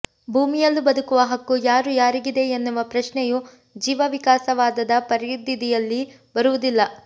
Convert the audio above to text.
ಭೂಮಿಯಲ್ಲು ಬದುಕುವ ಹಕ್ಕು ಯಾರು ಯಾರಿಗಿದೆ ಎನ್ನುವ ಪ್ರಶ್ನೆಯೂ ಜೀವವಿಕಾಸ ವಾದದ ಪರಿಧಿಯಲ್ಲಿ ಬರುವುದಿಲ್ಲ